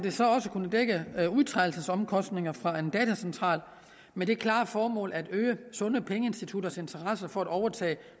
kunne dække udtrædelsesomkostninger fra en datacentral med det klare formål at øge sunde pengeinstitutters interesse for at overtage